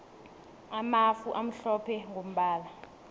amafu amhlophe mgombala